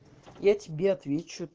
я тебе отвечу